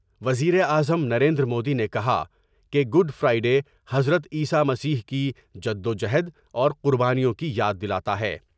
وزیراعظم نریندرمودی نے کہا کہ گڈ فرائی ڈے حضرت عیسی مسیح کی جدو جہد اور قربانیوں کی یاد دلاتا ہے ۔